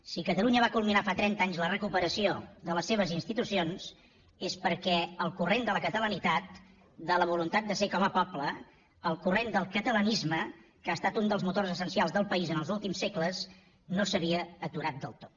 si catalunya va culminar fa trenta anys la recuperació de les seves institucions és perquè el corrent de la catalanitat de la voluntat de ser com a poble el corrent del catalanisme que ha estat un dels motors essencials del país els últims segles no s’havia aturat del tot